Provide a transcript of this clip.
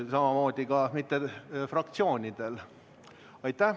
Samamoodi ka mitte fraktsioonidel.